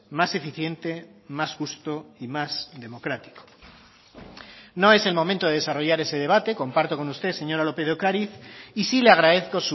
más eficiente más justo y más democrático no es el momento de desarrollar ese debate comparto con usted señora lópez de ocariz y sí le agradezco